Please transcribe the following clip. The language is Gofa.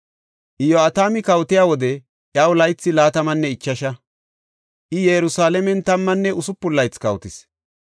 Iyo7atami kawotiya wode iyaw laythi laatamanne ichasha; I Yerusalaamen tammanne usupun laythi kawotis.